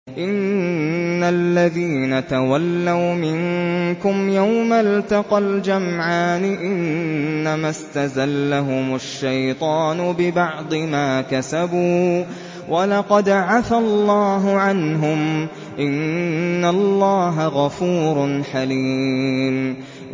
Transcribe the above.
إِنَّ الَّذِينَ تَوَلَّوْا مِنكُمْ يَوْمَ الْتَقَى الْجَمْعَانِ إِنَّمَا اسْتَزَلَّهُمُ الشَّيْطَانُ بِبَعْضِ مَا كَسَبُوا ۖ وَلَقَدْ عَفَا اللَّهُ عَنْهُمْ ۗ إِنَّ اللَّهَ غَفُورٌ حَلِيمٌ